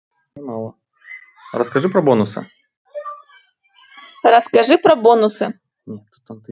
ну расскажи про бонусы расскажи про бонусы